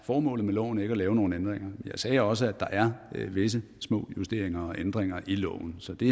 formålet med loven ikke at lave nogle ændringer jeg sagde også at der er visse små justeringer og ændringer i loven så det